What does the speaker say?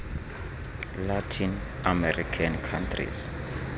latin american countries